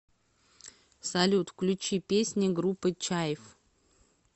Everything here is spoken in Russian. салют включи песни группы чайф